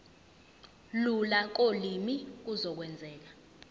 lula kolimi kuzokwenzeka